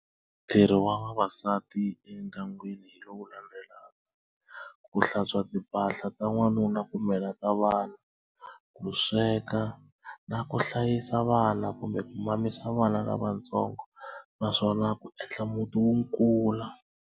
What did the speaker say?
Ntirho wa vavasati endyangwini hi lowu landzelaka ku hlantswa timpahla ta n'wanuna kumbe na ta vana ku sweka na ku hlayisa vana kumbe ku mamisa vana lavatsongo naswona ku endla muti wu kula.